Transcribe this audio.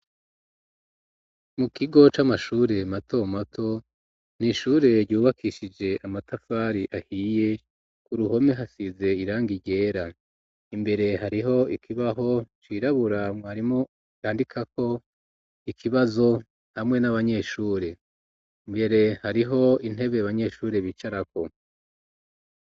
Mu kigo c'amashure mato mato n'ishure ryubakishije amatafari ahiye ku ruhome hasize irangi ryera imbere hariho ikibaho cirabura mwarimu yandikako ikibazo hamwe n'abanyeshuri imbere hariho intebe abanyeshuri bicarako